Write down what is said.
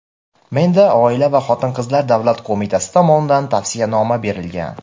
Menda Oila va xotin-qizlar davlat qo‘mitasi tomonidan tavsiyanoma berilgan.